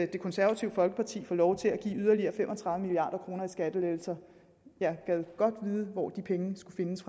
det konservative folkeparti får lov til at give yderligere fem og tredive milliard kroner i skattelettelser jeg gad godt vide hvor de penge skulle findes